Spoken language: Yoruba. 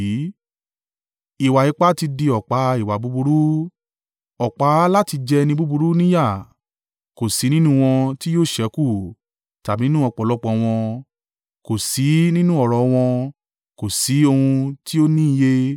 Ìwà ipá ti di ọ̀pá ìwà búburú; ọ̀pá láti jẹ ẹni búburú ní ìyà. Kò sí nínú wọn tí yóò ṣẹ́kù, tàbí nínú ọ̀pọ̀lọpọ̀ wọn, kò sí nínú ọrọ̀ wọn, kò sí ohun tí ó ní iye.